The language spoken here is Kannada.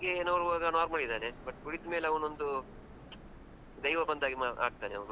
ನೋಡುವಾಗ normal ಇದ್ದಾನೆ, but ಕುಡಿದ್ ಮೇಲೆ ಅವನೊಂದು ದೈವ ಬಂದಾಗೆ ಮಾ ಆಗ್ತಾನೆ ಅವ್ನು.